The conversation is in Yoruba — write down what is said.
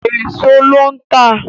Èèso ló ń tà